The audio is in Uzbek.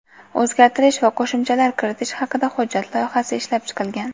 o‘zgartirish va qo‘shimchalar kiritish haqida hujjat loyihasi ishlab chiqilgan.